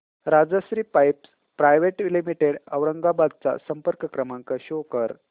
Rajshri pipes private limited Aurangabad चा संपर्क क्रमांक शो कर